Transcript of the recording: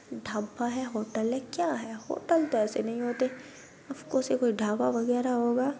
ढब्बा है होटल है क्या है होटल तो ऐसे नहीं होते अफकोर्स ये कोई ढाबा वगेरा होगा